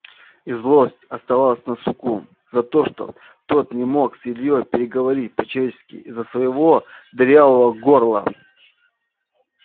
и злость оставалась на суку за то что тот не смог с ильёй переговорить по-человечески из-за своего дырявого горла